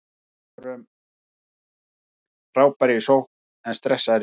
Við vorum frábærir í sókn en stressaðir í vörn.